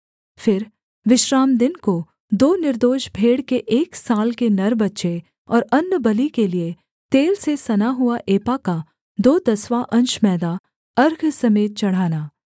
फिर विश्रामदिन को दो निर्दोष भेड़ के एक वर्ष के नर बच्चे और अन्नबलि के लिये तेल से सना हुआ एपा का दो दसवाँ अंश मैदा अर्घ समेत चढ़ाना